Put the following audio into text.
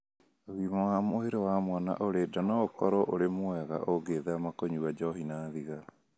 Ũgima wa mwĩrĩ wa mwana ũrĩ nda no ũkorũo ũrĩ mwega ũngĩthema kũnyua njohi na thigara.